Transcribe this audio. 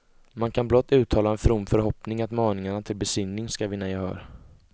Man kan blott uttala en from förhoppning att maningarna til besinning skall vinna gehör.